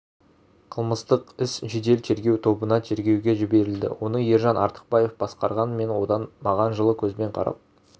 қылмыстық іс жедел-тергеу тобына тергеуге жіберілді оны ержан артықбаев басқарған мен одан маған жылы көзбен қарап